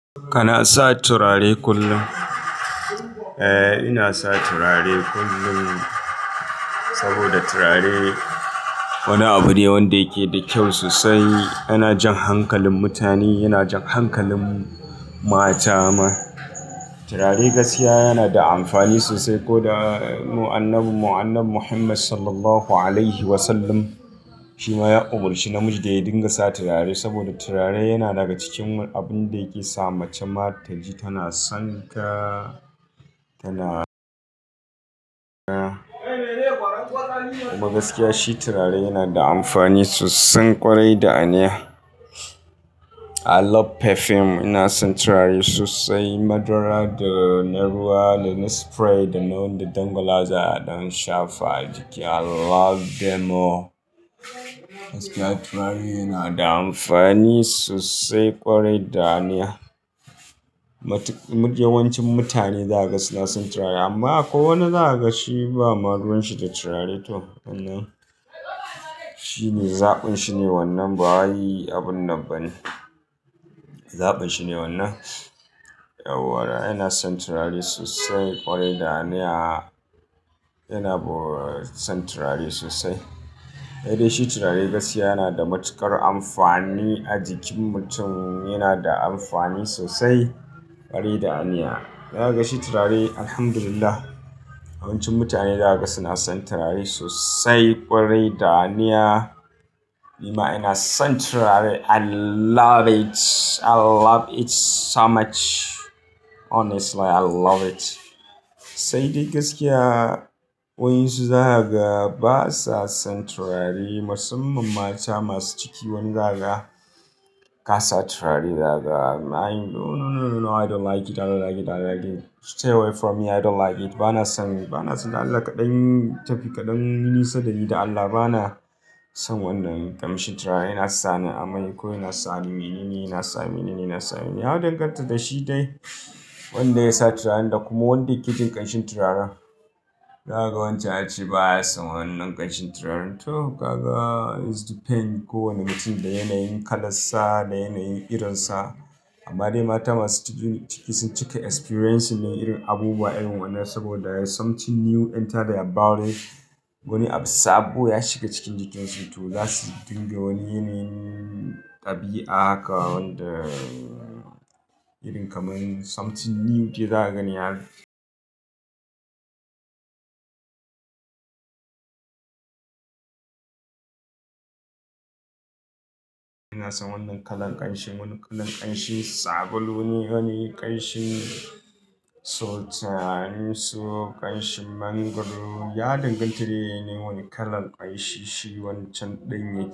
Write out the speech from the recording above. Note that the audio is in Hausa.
Kana sa turare kullum? Eh, ina sa turare kullum saboda turare wani abu ne wanda yake da kyau sosai. Yana jan hankalin mutane, yana jan hankalin mata ma. Turare gaskiya yana da amfani sosai ko da annabin mu, Annabi Muhammad Sallallahu Alaihi Wasallam shi ma ya umurci namiji da ya dinga sa turare saboda turare yana daga cikin abun da yake sa mace ma ta ji tana son ka, tana kuma gaskiya shi turare yana da amfani sosai ƙwarai da aniya. I love perfume, ina son turare sosai madara da na ruwa da na spray da na wanda dangwalawa za a yi a dan shafa a jiki. I love them all. Gaskiya turare yana da amfani sosai ƙwarai da aniya. Yawancin mutane zaka ga suna son turare amma akwai wani zaka ga shi ba ma ruwanshi da turare to wannan shi ne zaɓin shi ne wannan ba wai abun nan bane. Zaɓin shi ne wannan. Yauwa ina son turare sosai ƙwarai da aniya. Ina son turare sosai. Sai dai shi turare gaskiya yana da matuƙar amfani a jikin mutum. Yana da amfani sosai ƙwarai da aniya. Zaka ga shi turare Alhamdulillah yawancin mutane zaka ga suna son turare sosai ƙwarai da aniya. Ni ma ina son turare. I love it. I love it so much. Honestly I love it. Sai dai gaskiya waɗansu su zaka ga ba sa son turare. Musamman mata masu ciki wani zaka ga ka sa turare. Zaka ga wai no no no no I don't like it, I don't like it, I don't like it, suce wai for me i don't like it bana son yi bana so dan Allah ka ɗan yi nisa dani don allah bana son wannan ƙamshin turaren yana sani ammai ko yana sani menene, yana sa menene, yana sa menene. Ya danganta da shi dai wanda ya sa turaren da kuma wanda yake jin ƙanshin turaren za kaga wancen ya ce ba ya son wannan ƙanshin turaren toh gaga it depends. Kowane mutum da yanayin kalan sa, da yanayin irin sa. Amma dai mata masu ciki ciki sun cika experiencing ɗin irin abubuwa irin wannan saboda something new enter their body. Wani abu sabo ya shiga cikin jikinsu to za su dinga wani yanayin ɗabi'a haka wanda irin kamar something new dai za kagani haka. Ina son wannan kalan ƙanshi, wannan kalan ƙanshin sabulu neh, wani ƙanshin sultan su, ƙanshi mangrove. Ya danganta dai da yanayin wani kalan ƙanshi shi wancan ɗin yake.